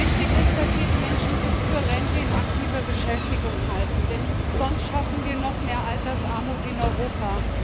Wichtig ist, dass wir die Menschen bis zur Rente in aktiver Beschäftigung halten, denn sonst schaffen wir noch mehr Altersarmut in Europa.